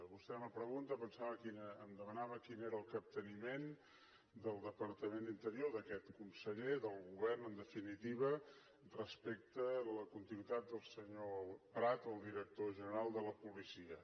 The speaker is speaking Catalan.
vostè en la pregunta em demanava quin era el capteniment del departament d’interior d’aquest conseller del govern en definitiva respecte a la continuïtat del senyor prat el director general de la policia